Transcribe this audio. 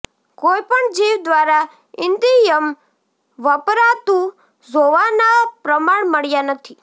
કોઈ પણ જીવ દ્વારા ઈંદિયમ વપરાતુઝોવાના પ્રમાણ મળ્યાં નથી